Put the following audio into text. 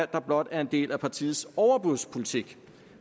der blot er en del af partiets overbudspolitik